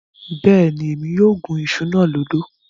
Bẹ́ẹ̀ni, Émi yóò gún iṣu náà lódò